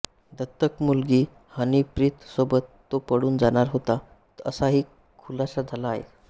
दत्तक मुलगी हनीप्रीतसोबत तो पळून जाणार होता असाही खुलासा झाला आहे